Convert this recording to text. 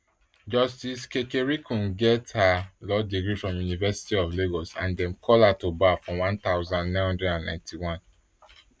justice kekereekun get her law degree from university of lagos and dem call her to bar for one thousand, nine hundred and ninety -one